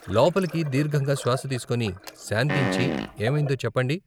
లోపలికి దీర్ఘంగా శ్వాస తీసుకొని, శాంతించి ఏమైందో చెప్పండి.